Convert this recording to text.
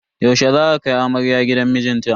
Yaushe za a kai amarya gidan mijinta?